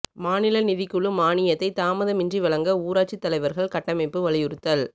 மாநில நிதிக் குழு மானியத்தை தாமதமின்றி வழங்கஊராட்சித் தலைவா்கள் கூட்டமைப்பு வலியுறுத்தல்